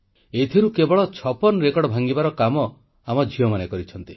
ଏଥିରୁ 56 ରେକର୍ଡ଼ ଭାଙ୍ଗିବାର କାମ ଆମ ଝିଅମାନେ କରିଛନ୍ତି